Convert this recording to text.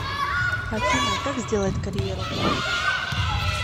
афина как сделать карьеру